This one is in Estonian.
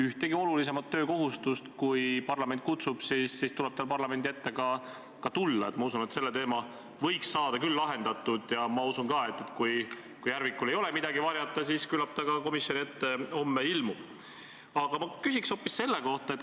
Ja ma ei eksi ega valeta, kui ma ütlen, et tõepoolest on inimesed pöördunud minu poole või meie erakonna poole ja toonud oma konkreetseid kohtuskäimise kaasuseid, mille korral mina, kes ma ei ole juristi haridusega, näen ilmselgelt, kuidas protseduurireegleid on rikutud või kuidas õigust on mõistetud niimoodi, et õiglus on kannatanud.